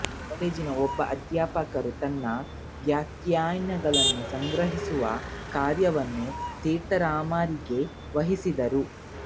ಕಾಲೇಜಿನ ಒಬ್ಬ ಅಧ್ಯಾಪಕರು ತನ್ನ ವ್ಯಾಖ್ಯಾನಗಳನ್ನು ಸಂಗ್ರಹಿಸುವ ಕಾರ್ಯವನ್ನು ತೀರ್ಥರಾಮರಿಗೆ ವಹಿಸಿದರು